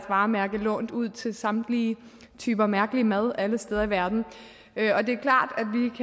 varemærke lånt ud til samtlige typer mærkelig mad alle steder i verden og det er klart